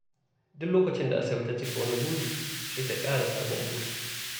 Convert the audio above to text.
Duk lokacin da Asabe ta cika wani buri, sai ta ƙara sabon buri.